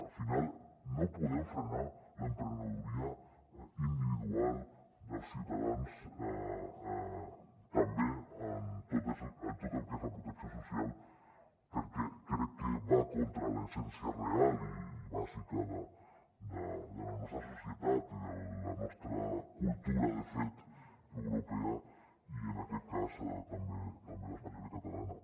al final no podem frenar l’emprenedoria individual dels ciutadans tampoc en tot el que és la protecció social perquè crec que va contra l’essència real i bàsica de la nostra societat i de la nostra cultura de fet europea i en aquest cas també espanyola i catalana